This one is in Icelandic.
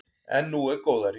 En nú er góðæri.